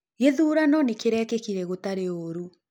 Gĩthũrano nĩkĩrekĩkĩre gũtarĩ ũrũ.